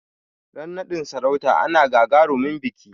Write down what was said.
Ran naɗin sarauta ana gagarumin biƙi